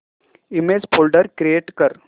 image folder create कर